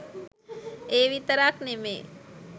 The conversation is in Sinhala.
ඒ විතරක් නෙමේ.